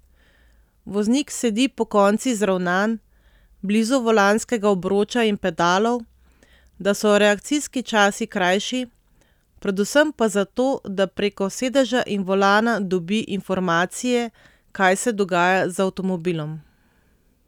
Voznik sedi pokonci zravnan, blizu volanskega obroča in pedalov, da so reakcijski časi krajši, predvsem pa zato, da preko sedeža in volana dobi informacije, kaj se dogaja z avtomobilom.